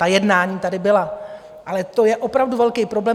Ta jednání tady byla, ale to je opravdu velký problém.